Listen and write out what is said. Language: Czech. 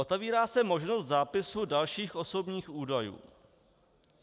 Otevírá se možnost zápisu dalších osobních údajů.